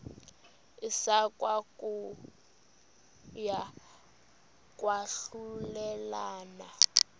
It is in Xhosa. isekwa kokuya kwahlulelana